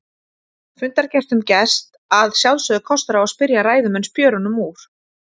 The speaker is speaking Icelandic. Fundargestum gefst að sjálfsögðu kostur á að spyrja ræðumenn spjörunum úr.